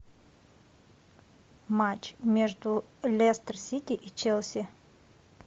матч между лестер сити и челси